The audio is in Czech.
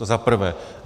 To za prvé.